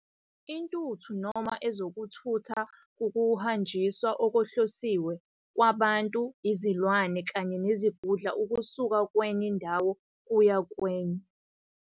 Intutho noma ezokuthutha, kuwukuhanjiswa okuhlosiwe kwabantu, izilwane, kanye nezingudla ukusuka kwenye indawo kuya kwenye.